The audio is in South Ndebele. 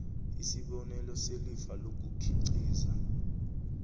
isibonelelo selifa lokukhiqiza